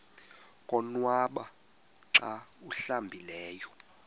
konwaba xa awuhlambileyo